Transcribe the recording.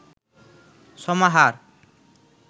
সমাহার